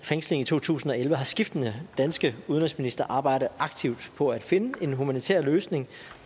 fængsling i to tusind og elleve har skiftende danske udenrigsministre arbejdet aktivt på at finde en humanitær løsning